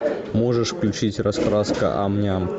можешь включить раскраска ам ням